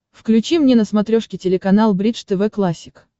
включи мне на смотрешке телеканал бридж тв классик